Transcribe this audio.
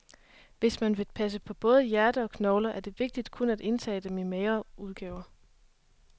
Men hvis man vil passe på både hjerte og knogler, er det vigtigt kun at indtage dem i de magre udgaver.